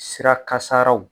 Sira kasaaraw.